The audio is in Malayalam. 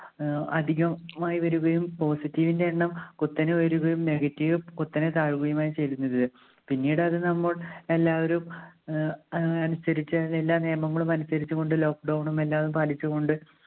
ഏർ അധികം മായി വരുകയും positive ന്റെ എണ്ണം കുത്തനെ ഉയരുകയും negative കുത്തനെ താഴുകയുമാണ് ചെയ്തിരുന്നത്. പിന്നീട് അത് നമ്മൾ എല്ലാവരും ആഹ് അനുസരിച്ച് എല്ലാ നിയമങ്ങളും അനുസരിച്ച് കൊണ്ട് lockdown ഉം എല്ലാതും പാലിച്ചുകൊണ്ട്